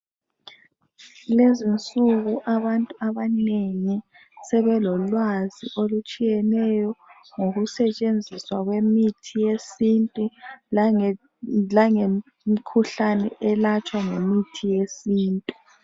Lezinsuku abantu abanengi sebelolwazi olutshiyeneyo ngokusetshenziswa kwemithi yesintu, langemikhuhlane elatshwa ngemithi yesintu.